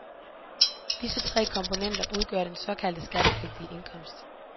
Disse tre komponenter udgør den såkaldte skattepligtige indkomst.